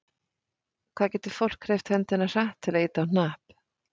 Hvað getur fólk hreyft höndina hratt til að ýta á hnapp?